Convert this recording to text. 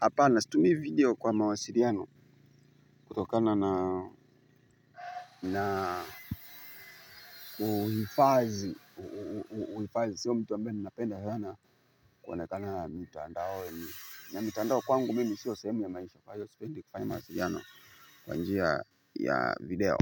hapana situmii video kwa mawasiriano kutokana na na kuhifazi uhifazi siyo mtu ambaye ninapenda sana kuona kana na mitandaoni na mitandao kwangu mimi siyo sehemu ya maisha kwahiyo sipendi kufanya mawasiriano kwa njia ya video.